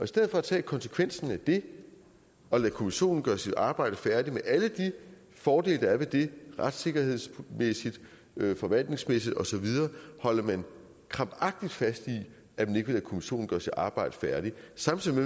stedet for at tage konsekvensen af det og lade kommissionen gøre sit arbejde færdigt med alle de fordele der er ved det retssikkerhedsmæssigt forvaltningsmæssigt og så videre holder man krampagtigt fast i at man ikke vil lade kommissionen gøre sit arbejde færdigt samtidig